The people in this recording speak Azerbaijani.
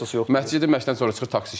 Məşqçidə məşqdən sonra çıxır taksi işləyir.